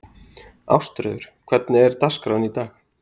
Ásröður, hvernig er dagskráin í dag?